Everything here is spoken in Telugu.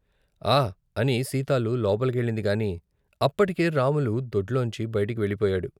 ' ఆ ' అని సీతాలు లోపలికెళ్ళిందిగాని అప్పటికే రాములు దొడ్లోంచి బయట కెళ్ళిపోయాడు.